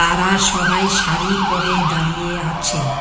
তারা সবাই শাড়ি পরে দাঁড়িয়ে আছে।